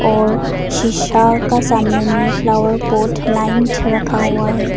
और शीशा का सामने में फ्लावर पॉट लाइन से रखा हुआ है।